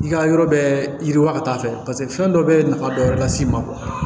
I ka yɔrɔ bɛ yiriwa ka taa fɛ paseke fɛn dɔ bɛ nafa dɔ wɛrɛ las'i ma